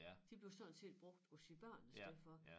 De blev sådan set brugt på de børn i stedet for